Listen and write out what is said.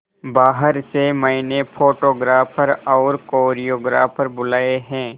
बाहर से मैंने फोटोग्राफर और कोरियोग्राफर बुलाये है